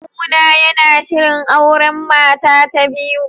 Kawuna yana shirin auren mata ta biyu